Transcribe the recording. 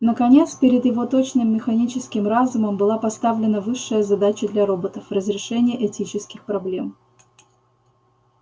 наконец перед его точным механическим разумом была поставлена высшая задача для роботов разрешение этических проблем